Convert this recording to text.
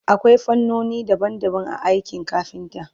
akwai fannoni daban daban a aikin kafinta